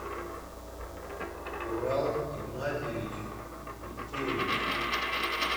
урал игнатьевич миткевич